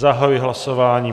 Zahajuji hlasování.